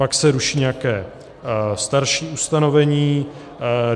Pak se ruší nějaké starší ustanovení.